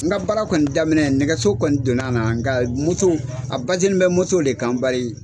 N ka baara kɔni daminɛ nɛgɛso kɔni donna na, nka moto a bɛ moto de kan bari.